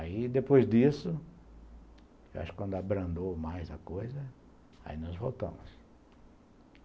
Aí, depois disso, eu acho que quando abrandou mais a coisa, aí nós voltamos.